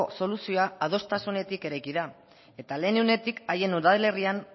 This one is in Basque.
soluzioa adostasunetik eraiki da eta lehen unetik haien udalerrian